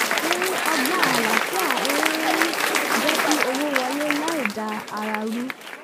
ọgbọ́n àlàáfíà ń um jẹ́ kí owó wọlé láì da ara ru